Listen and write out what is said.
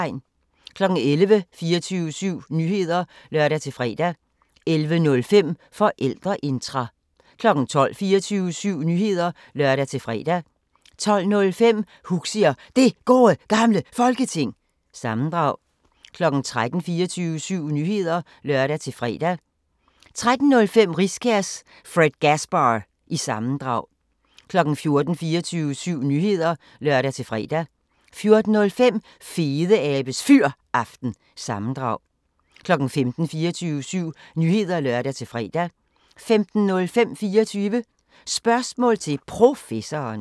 11:00: 24syv Nyheder (lør-fre) 11:05: Forældreintra 12:00: 24syv Nyheder (lør-fre) 12:05: Huxi og Det Gode Gamle Folketing – sammendrag 13:00: 24syv Nyheder (lør-fre) 13:05: Riskærs Fredgasbar- sammendrag 14:00: 24syv Nyheder (lør-fre) 14:05: Fedeabes Fyraften – sammendrag 15:00: 24syv Nyheder (lør-fre) 15:05: 24 Spørgsmål til Professoren